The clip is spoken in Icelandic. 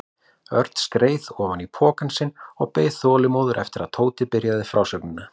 Örn skreið ofan í pokann sinn og beið þolinmóður eftir að Tóti byrjaði frásögnina.